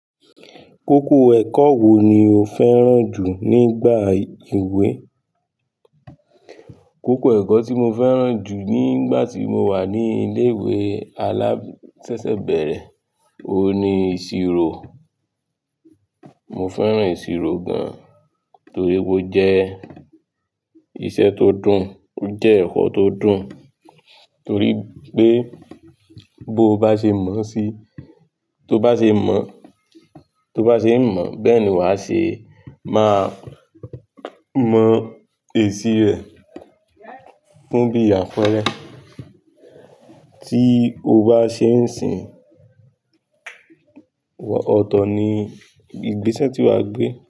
Kókó ẹ̀kọ́ wo ni o fẹ́ràn jù nígbà ìwé? Kókó ẹ̀kọ́ tí mo fẹ́ràn jù nígbà tí mo wà ní ilé ìwé alásẹsẹ̀bẹ̀rẹ̀, òun ni ìṣirò. Mo fẹ́ràn ìṣirò gan, torí pé ó jẹ́ iṣẹ́ tó dùn, ó jẹ́ ẹ̀kọ́ tó dùn, torí pé bó bá ṣe mọ̀ sí-- tó bá ṣe mọ̀, tó bá ṣe ń mọ̀, bẹ́ẹ̀ ni wà á ṣe máa mọ èsì rẹ̀. Fún bí àfẹ́rẹ, tí o bá ṣe ń sìn ọ̀tọ̀ ni, ìgbésẹ̀ tí wà á gbé.